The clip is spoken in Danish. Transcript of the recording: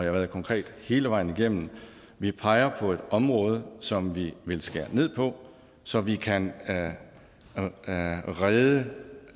har været konkret hele vejen igennem vi peger på et område som vi vil skære ned på så vi kan redde